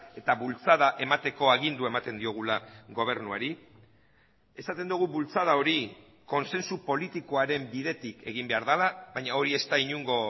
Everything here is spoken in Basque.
eta bultzada emateko agindua ematen diogula gobernuari esaten dugu bultzada hori kontsensu politikoaren bidetik egin behar dela baina hori ez da inongo